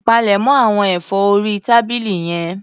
Palẹ̀mọ̀ àwọn ẹ̀fọ́ orí tábìlì yẹn.